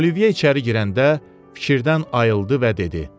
Olivier içəri girəndə fikirdən ayıldı və dedi: